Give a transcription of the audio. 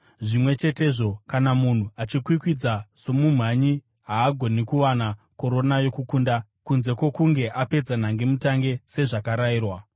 Zvimwe chetezvo, kana munhu achikwikwidza somumhanyi, haagoni kuwana korona yokukunda kunze kwokunge apedza nhangemutange sezvakarayirwa.